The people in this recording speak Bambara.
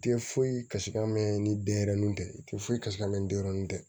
I tɛ foyi kasi kan mɛn ni denyɛrɛnin tɛ i tɛ foyi kasi ka mɛn ni denyɛrɛnin tɛ